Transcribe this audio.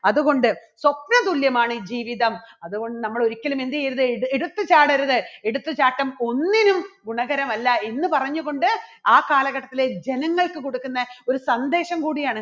അതുകൊണ്ട് സ്വപ്നതുല്യമാണ് ജീവിതം അതുകൊണ്ട് നമ്മൾ ഒരിക്കലും എന്ത് ചെയ്യരുത് എട്~എടുത്ത് ചാടരുത് എടുത്തുചാട്ടം ഒന്നിനും ഗുണകരമല്ല എന്ന് പറഞ്ഞുകൊണ്ട് ആ കാലഘട്ടത്തിലെ ജനങ്ങൾക്ക് കൊടുക്കുന്ന ഒരു സന്ദേശം കൂടിയാണ്